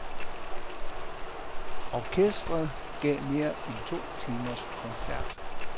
Orkestret gav mere end to timers koncert.